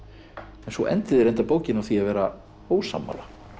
svo endið þið bókina á því að vera ósammála